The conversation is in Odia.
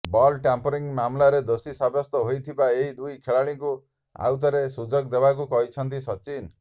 ବଲ୍ ଟ୍ୟାମ୍ପରିଂ ମାମଲାରେ ଦୋଷୀ ସାବ୍ୟସ୍ତ ହୋଇଥିବା ଏହି ଦୁଇ ଖେଳାଳିଙ୍କୁ ଆଉ ଥରେ ସୁଯୋଗ ଦେବାକୁ କହିଛନ୍ତି ସଚିନ